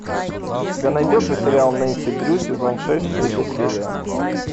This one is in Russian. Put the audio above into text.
у тебя найдется сериал нэнси дрю сезон шесть третья серия